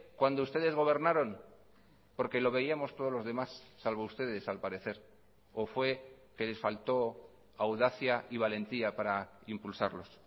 cuando ustedes gobernaron porque lo veíamos todos los demás salvo ustedes al parecer o fue que les falto audacia y valentía para impulsarlos